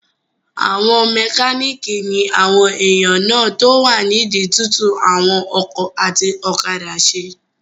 Àwọn mẹkánìkì ní àwọn èèyàn náà tó wà nídi túntún àwọn ọkọ̀ àti òkadà ṣe